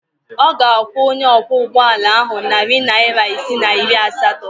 Ọ ga-akwụ onye ọkwọụgbọala ahụ narị naịra isii na iri asatọ.